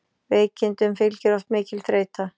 Veikindum fylgir oft mikil þreyta.